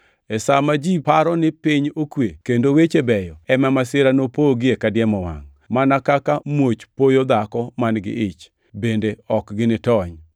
E sa ma ji paro ni piny okwe kendo weche beyo, ema masira nopogie kadiemo wangʼ, mana kaka muoch poyo dhako man-gi ich, bende ok ginitony.